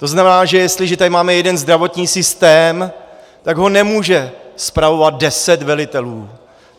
To znamená, že jestliže tady máme jeden zdravotní systém, tak ho nemůže spravovat deset velitelů.